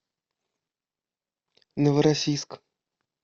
новороссийск